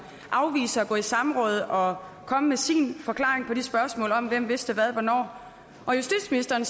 afviser at gå i samråd og komme med sin forklaring på spørgsmålet om hvem der vidste hvad hvornår og justitsministeren